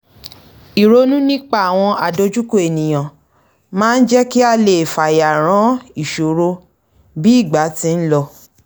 ìronú nípa àwọn àdọjúkọ ènìyàn máa ń jẹ́ kí a lè fayàrán ìṣòro bí ìgbà ti ń lọ